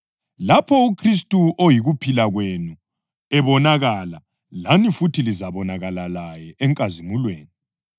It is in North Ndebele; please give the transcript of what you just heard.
Lapho uKhristu oyikuphila kwenu, ebonakala, lani futhi lizabonakala laye enkazimulweni.